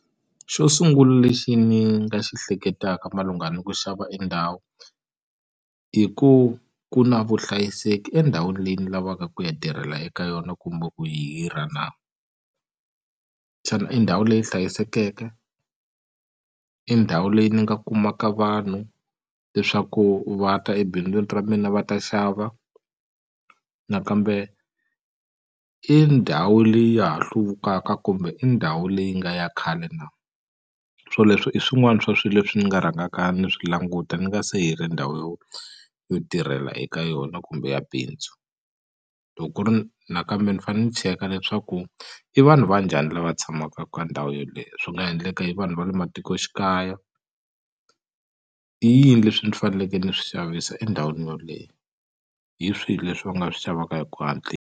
Xo sungula lexi ni nga xi hleketaka malungana ni ku xava endhawu i ku ku na vuhlayiseki endhawini leyi ni lavaka ku ya tirhela eka yona kumbe ku yi hirha na xana i ndhawu leyi hlayisekeke i ndhawu leyi ni nga kumaka vanhu leswaku va ta ebindzwini ra mina va ta xava nakambe i ndhawu leyi ya ha hluvukaka kumbe i ndhawu leyi nga ya khale na swoleswo i swin'wani swa swi leswi ni nga rhangaka ni swi languta ni nga se hirha ndhawu yo yo tirhela eka yona kumbe ya bindzu loko ku ri nakambe ni fane ni cheka leswaku i vanhu va njhani lava tshamaka ka ndhawu yeleyo swi nga ha endleka i vanhu va le matikoxikaya i yini leswi ni faneleke ni swi xavisa endhawini yoleyo hi swihi leswi va nga swi xavaka hi ku .